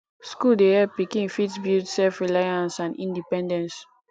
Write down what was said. school dey help pikin fit build self reliance and independence